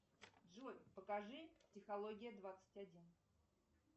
джой покажи психология двадцать один